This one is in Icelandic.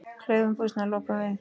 Klaufum buxna lokum við.